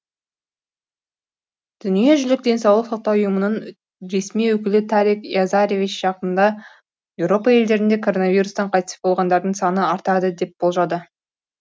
дүниежүзілік денсаулық сақтау ұйымының ресми өкілі тарик язаревич жақында еуропа елдерінде коронавирустан қайтыс болғандардың саны артады деп болжады